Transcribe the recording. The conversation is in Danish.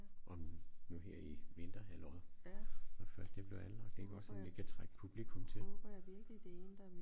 Om nu her i vinterhalvåret når først det bliver anlagt ikke også om det kan trække publikum til